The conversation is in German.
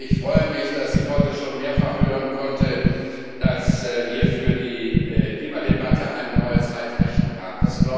Ich freue mich, dass ich heute schon mehrfach hören konnte, dass wir für die Klimadebatte eine neue Zeitrechnung haben.